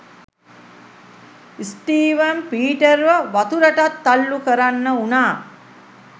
Steven පීටර්ව වතුරටත් තල්ලු කරන්න උනා